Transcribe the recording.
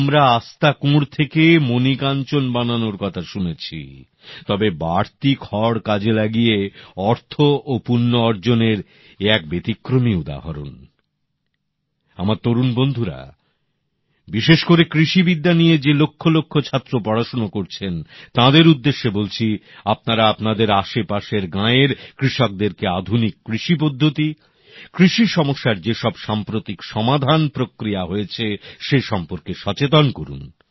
আমরা আস্তাকুঁড় থেকে মণিকাঞ্চন বানানোর কথা শুনেছি তবে বাড়তি খড় কাজে লাগিয়ে অর্থ ও পুণ্য অর্জনের এ এক ব্যতিক্রমী উদাহরণ আমার তরুণ বন্ধুরা বিশেষ করে কৃষিবিদ্যা নিয়ে যে লক্ষ লক্ষ ছাত্র পড়াশোনা করছেন তাঁদের উদ্দেশে বলছি আপনারা আপানাদের আশেপাশের গাঁয়ের কৃষকদের কে আধুনিক কৃষি পদ্ধতি কৃষি সমস্যার যে সব সাম্প্রতিক সমাধান প্রক্রিয়া হয়েছে সে সম্পর্কে সচেতন করুন